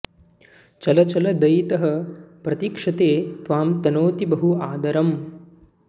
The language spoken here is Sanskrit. चल चल दयितः प्रतीक्षते त्वां तनोति बहु आदरम्